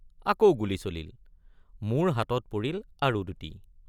আকৌ গুলী চলিল মোৰ হাতত পৰিল আৰু দুটি।